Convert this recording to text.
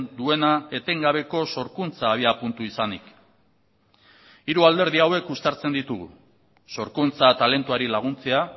duena etengabeko sorkuntza abiapuntu izanik hiru alderdi hauek uztartzen ditugu sorkuntza talentuari laguntzea